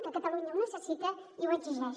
que catalunya ho necessita i ho exigeix